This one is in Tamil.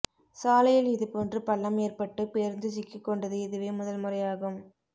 சாலையில் இதுபோன்று பள்ளம் ஏற்பட்டு பேருந்து சிக்கிக்கொண்டது இதுவே முதல்முறையாகும்